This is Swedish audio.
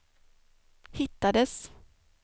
hittades